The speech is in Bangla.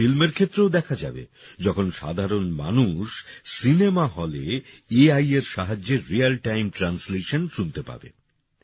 এটা ফিল্মের ক্ষেত্রেও দেখা যাবে যখন সাধারণ মানুষ সিনেমা হলে এ আইএর সাহায্যে রিয়াল টাইম ট্রান্সলেশন শুনতে পাবে